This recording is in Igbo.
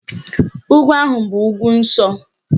Ugwu ahụ bụ ugwu nsọ